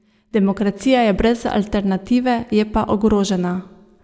Demokracija je brez alternative, je pa ogrožena.